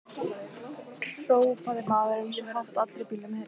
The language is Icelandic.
hrópaði maðurinn svo hátt að allir í bílnum heyrðu.